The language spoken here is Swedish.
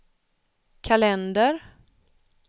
kalender